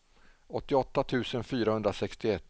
åttioåtta tusen fyrahundrasextioett